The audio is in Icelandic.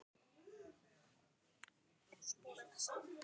Á laugardagskvöldið hringdi Steindór.